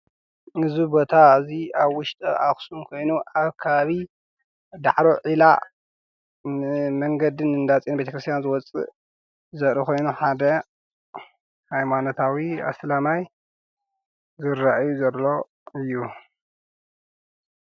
እዚ ቦታ እዙይ ኣብ ውሽጠ ኣኽስም ኮይኑ ኣብ ከባቢ ዳዕሮ ዒላ መንገድን እንዳ ጺዮን ቤተክርስቲያን ዘወፅእ ዘሪ ኾይኑ ሓደ ሃይማኖታዊ ኣስላማይ ዝራእዩ ዘሎ እዩ።